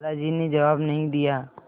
दादाजी ने जवाब नहीं दिया